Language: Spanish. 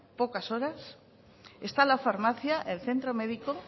pocas horas está la farmacia el centro médico